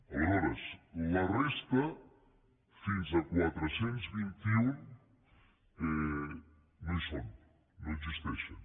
aleshores la resta fins a quatre cents i vint un no hi són no existeixen